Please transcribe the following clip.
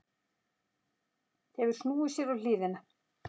Hefur snúið sér á hliðina.